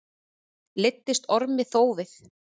Leiddist Ormi þófið.